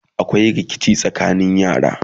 akwai rikici tsakanin yare